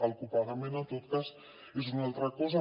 el copagament en tot cas és una altra cosa